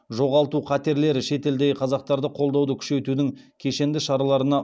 жоғалту қатерлері шетелдегі қазақтарды қолдауды күшейтудің кешенді шараларына